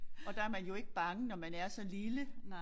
Og der man jo ikke bange når man er så lille